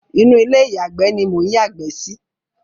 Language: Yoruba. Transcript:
Inú ilé ìyàgbé ni mò ń yàgbẹ́ sí.